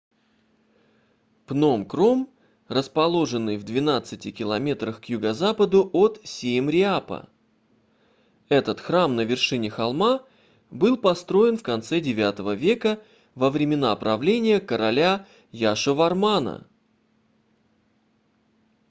пном кром расположенный в 12 км к юго-западу от сиемреапа этот храм на вершине холма был построен в конце ix века во времена правления короля яшовармана